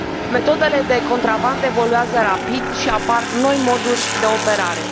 Metodele de contrabandă evoluează rapid și apar noi moduri de operare.